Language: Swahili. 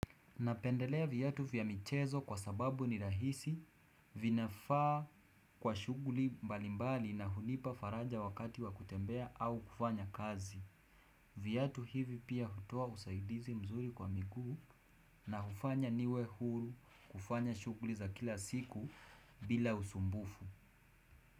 Napendelea viatu vya michezo kwa sababu ni rahisi vinafaa kwa shughuli mbalimbali na hunipa faraja wakati wa kutembea au kufanya kazi. Viatu hivi pia hutoa usaidizi mzuri kwa miguu na hufanya niwe huru kufanya shughuli za kila siku bila usumbufu.